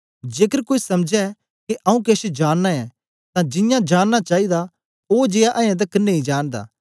जेकर कोई समझै के आऊँ केछ जाननां ऐं तां जियां जाननां चाईदा ओ जियां अयें तकर नेई जानदा